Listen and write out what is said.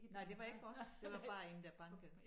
Nej det var ikke os det var bare én der bankede